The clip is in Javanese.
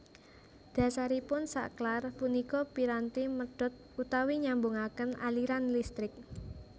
Dhasaripun saklar punika piranti medhot utawi nyambungaken aliran listrik